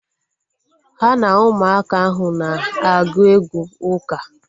Ha na ụmụaka ahụ na-agụ egwú uka